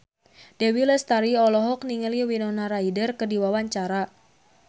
Dewi Lestari olohok ningali Winona Ryder keur diwawancara